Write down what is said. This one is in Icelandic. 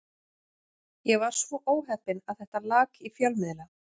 Ég var svo óheppinn að þetta lak í fjölmiðla.